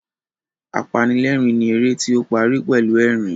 Apanilẹ́rìn ni eré tí ó parí pẹ̀lú ẹ̀rín